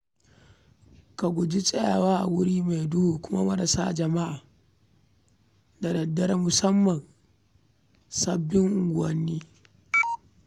Ka guji tsayawa a wuri mai duhu kuma maras jama'a da dare musamman a sababbin unguwanni.